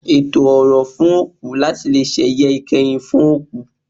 Ètò orò fún òkú láti leè sẹ̀yẹ ìkẹyìn fún òkú